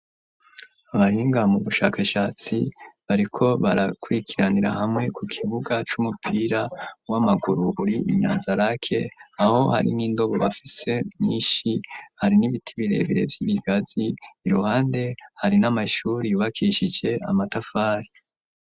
Abahinga mu bushakashatsi bariko barakwikiranira hamwe ku kibuga c'umupira w'amaguru uri inyanza rake aho hari n'indobo bafise nyinshi hari n'ibiti birebere vy'ibigazi iruhande hari n'amashuri bakishise amatafari.